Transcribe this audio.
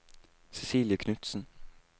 Cecilie Knutsen